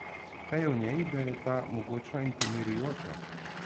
Kaj je v njej, da je tako mogočna in pomirjujoča?